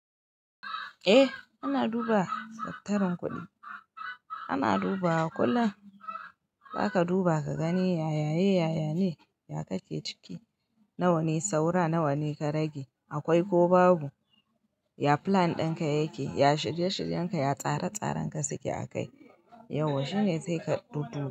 Eh ana duba daftarin kuɗi, ana duba wa kullum. Zaka duba ka gani yaya ye yaya ne, ya kake ciki, na wane saura, na wane ka rage, akwai ko babu, ya plan ɗinka yake, ya shirye shiryen ka, ya tsare tsaren ka suke a kai. Yauwa shine zai ka dudduba.